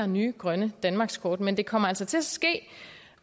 nye grønne danmarkskort men det kommer altså til at ske